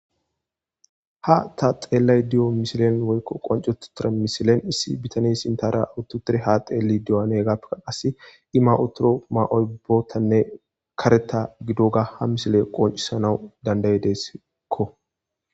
ha ta xeellay diyo misilen woykko qoncututira misilen issi bitani intara awuttutire ha xeeli du7anegappeka qas imautoro ma7oy bootanne kareta gidoga ha misile qoncisanawu dandaye desikko